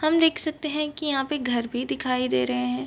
हम देख सकते हैं की यहाँ पे एक घर भी दिखाई दे रहे हैं।